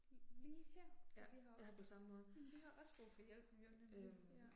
Lige her. For de har jo også, men de har også brug for hjælp jo nemlig, ja